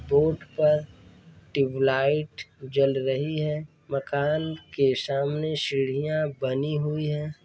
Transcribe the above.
Board पर tube light जल रही है। मकान के सामने सीढ़ियां बनी हुई हैं।